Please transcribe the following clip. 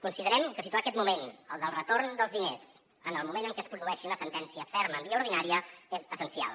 considerem que situar aquest moment el del retorn dels diners en el moment en què es produeixi una sentència ferma en via ordinària és essencial